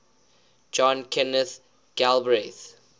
john kenneth galbraith